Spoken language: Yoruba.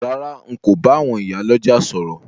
Rárá, n ko ba àwon ìyá lójà sòrò